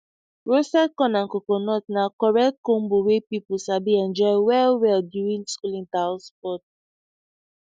roasted corn and coconut na correct combo wey people sabi enjoy well well during school interhouse sports